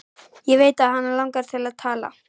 Ég veit að hana langar að tala.